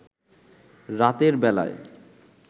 রাতের বেলায়